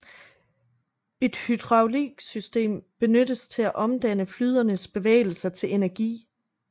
Et hydrauliksystem benyttes til at omdanne flyderenes bevægelser til energi